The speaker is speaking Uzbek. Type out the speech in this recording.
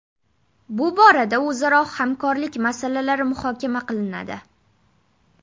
Bu borada o‘zaro hamkorlik masalalari muhokama qilinadi.